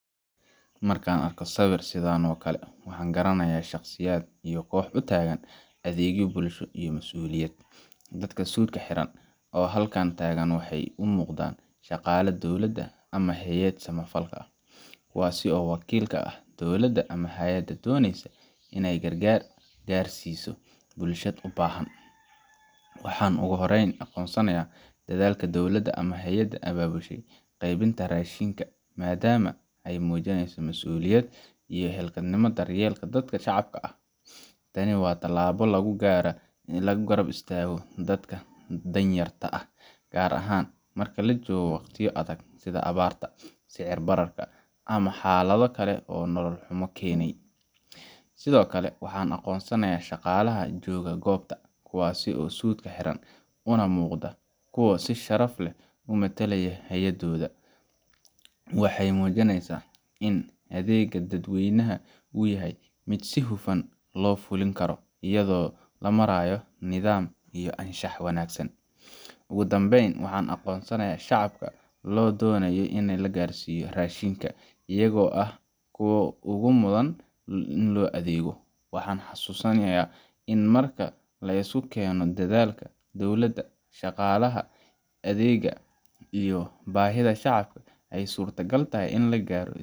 Markaan arko sawiir sidan oo kale waxaan garanayaa shaqsiyaad iyo koox utaagan adeegyo bulsho iyo masuuliyad, dadka suudka xiran oo halkan taagan waxeey umuuqdaan shaqaala dowlada ah ama haayad sama falka ah kuwaas oo wakiil ka ah dowlada ama hayada doneysa ineey gargaar gaarsiso bulshad ubahan, waxaan ugu horeen aqoonsanayaa dadaalka dowlada ama hayada ababushe qeybinta rashinka, madama aay mujineyso masuuliyad iyo xilyeelka dadka shacabka ah ,tani waa tilaabo lagu garaa in lagu garab istaago dadka danyarta ah, gaar ahaan marka lajoogo waqtiya adag sida abaarta, sicir bararka ama xalada kale oo nolol xumo keeni, sido kale waxaan aqoonsanayaa shaqalaha jooga goobta kuwasi oo suudka xiran una muuqda kuwa si sharaf leh u matalaya hayadooda, waxeey muujineysa in adeega dad weynaha uu yahay mid si fudud oo hufan loo fulin karo ayado lamaraayo nidaam iyo anshax wanagsan, ugu danbeyn waxaan aqoonsanayaa shacabka loo donaayo in la gaarsiyo rashinka ayago ah kuwa ugu mudan in loo adeego, waxaan xasuusanaya in marka lesku keeno dadaalka dowlada shaqalaha adeega iyo bahida shacabka aay suurta gal tahay in lagaaro.